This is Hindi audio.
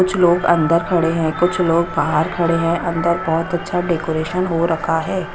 कुछ लोग अंदर खड़े हैं कुछ लोग बाहर खड़े हैं अंदर बोहोत अच्छा डेकोरेशन हो रखा है।